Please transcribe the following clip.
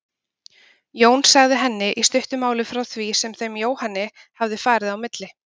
Jón sagði henni í stuttu máli frá því sem þeim Jóhanni hafði farið á milli.